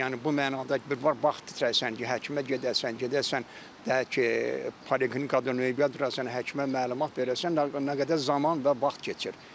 Yəni bu mənada ki, bir var vaxt itirəsən ki, həkimə gedəsən, gedəsən, deyək ki, poliklinikada növbə durasan, həkimə məlumat verəsən, nə qədər zaman və vaxt keçir.